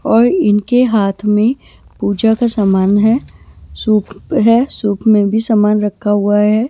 और इनके हाथ में पूजा का सामान है सूप है सूप में भी सामान रखा हुआ है।